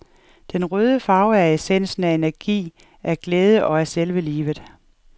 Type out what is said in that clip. Den røde farve er essensen af energi, af glæde og af selve livet.